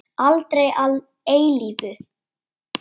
Aldrei að eilífu.